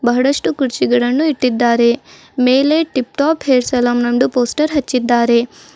ಬಹಳಷ್ಟು ಕುರ್ಚಿಗಳನ್ನು ಇಟ್ಟಿದ್ದಾರೆ ಮೇಲೆ ಟಿಪ್ ಟಾಪ್ ಹೇರ್ ಸಲೂನ್ ಎಂಬ ಪೋಸ್ಟರ್ ಹಚ್ಚಿದ್ದಾರೆ.